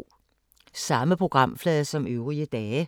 Samme programflade som øvrige dage